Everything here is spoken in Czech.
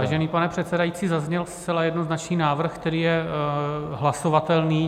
Vážený pane předsedající, zazněl zcela jednoznačný návrh, který je hlasovatelný.